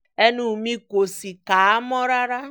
ẹnu mi kò sì ká a mọ́ rárá